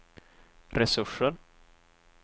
resurser